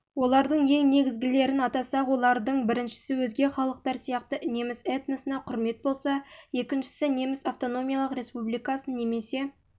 олардың ең негізгілерін атасақ олардың біріншісі өзге халықтар сияқты неміс этносына құрмет болса екіншісі неміс автономиялық республикасын немесе